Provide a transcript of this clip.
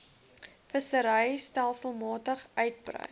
vissery stelselmatig uitbrei